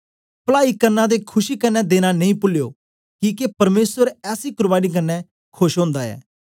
पलाई करना ते खुशी क्न्ने देना नेई पुलियो किके परमेसर ऐसी कुर्बानी कन्ने खोश ओंदा ऐ